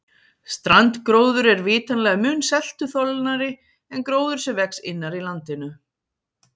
strandgróður er vitanlega mun seltuþolnari en gróður sem vex innar í landinu